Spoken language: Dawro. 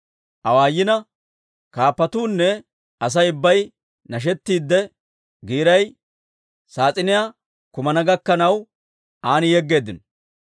Kaappatuunne Asay ubbay nashettiidde, giiray saas'iniyaa kumana gakkanaw, an yeggeeddino.